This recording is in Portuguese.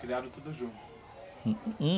Criaram tudo junto? Hum?